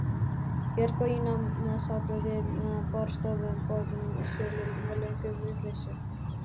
Björg og Ína sátu við borðstofuborðið og spiluðu lönguvitleysu.